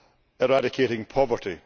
eradicating poverty.